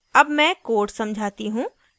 अब मैं code समझाती हूँ